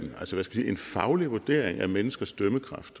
en faglig vurdering af menneskers dømmekraft